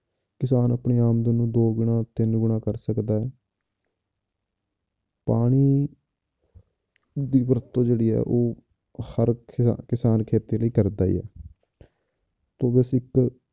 ਕਿਸਾਨ ਆਪਣੀ ਆਮਦਨ ਨੂੰ ਦੋ ਗੁਣਾ ਤਿੰਨ ਗੁਣਾ ਕਰ ਸਕਦਾ ਹੈ ਪਾਣੀ ਦੀ ਵਰਤੋਂ ਜਿਹੜੀ ਹੈ ਉਹ ਹਰ ਕਿਸਾ~ ਕਿਸਾਨ ਖੇਤੀ ਲਈ ਕਰਦਾ ਹੀ ਹੈ ਤੇ ਬਸ ਇੱਕ